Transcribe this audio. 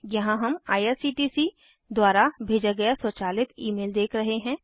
यहाँ हम आईआरसीटीसी द्वारा भेजा गया स्वचालित ईमेल देख रहे हैं